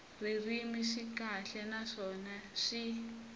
ririmi swi kahle naswona swi